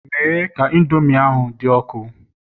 Mee ka Indomi ahụ dị ọkụ